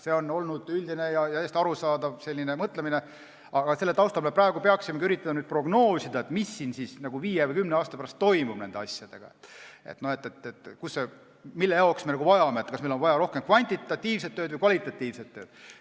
See on olnud üldine ja täiesti arusaadav mõtlemine, aga selle taustal me peaksime üritama prognoosida, mis siis viie või kümne aasta pärast toimub nende asjadega, mille jaoks me inimesi vajame, kas meil on vaja rohkem kvantitatiivset tööd või kvalitatiivset tööd.